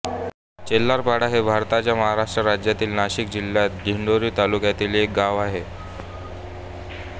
चेल्हारपाडा हे भारताच्या महाराष्ट्र राज्यातील नाशिक जिल्ह्यातील दिंडोरी तालुक्यातील एक गाव आहे